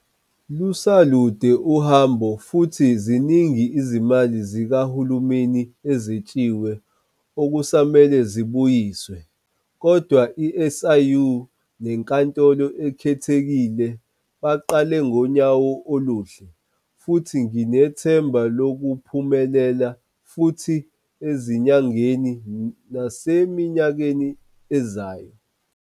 Luselude uhambo, futhi ziningi izimali zikahulumeni ezetshiwe okusamele zibuyiswe. Kodwa i-SIU neNkantolo Ekhethekile baqale ngonyawo oluhle, futhi nginethemba lokuphumelela futhi ezinyangeni naseminyakeni ezayo.